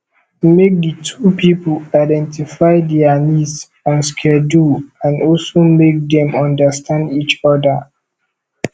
make di two pipo identify their needs and schedule and also make them understand each other